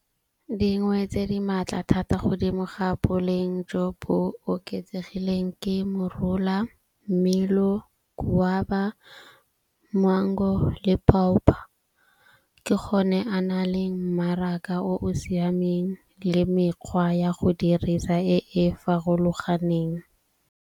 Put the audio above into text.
Dingwe tse di maatla thata godimo ga boleng jo bo oketsegileng ke morola , mmelo wa ba mango le . Ke gone a na le mmaraka o siameng le mekgwa ya go dirisa e e farologaneng.